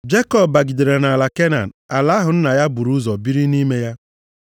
Jekọb bigidere nʼala Kenan, ala ahụ nna ya buru ụzọ biri nʼime ya.